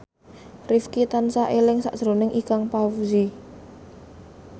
Rifqi tansah eling sakjroning Ikang Fawzi